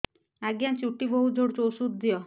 ଆଜ୍ଞା ଚୁଟି ବହୁତ୍ ଝଡୁଚି ଔଷଧ ଦିଅ